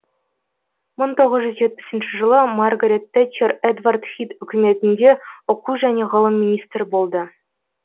мың тоғыз жүз жетпісінші жылы маргарет тэтчер эдвард хит үкіметінде оқу және ғылым министрі болды